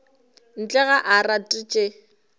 ntle ga a rate tše